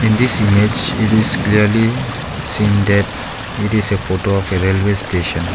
in this image it is clearly seen that it is a photo of a railway station.